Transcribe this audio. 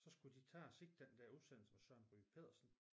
Så skulle de tage og se den der udsendelse med Søren Ryge Petersen